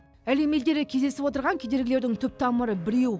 әлем елдері кездесіп отырған кедергілердің түп тамыры біреу